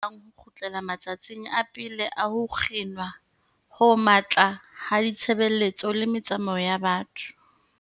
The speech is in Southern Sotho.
Ha ho le ya mong wa rona ya batlang ho kgutlela ma tsatsing a pele a ho kginwa ho matla ha ditshebeletso le metsamao ya batho.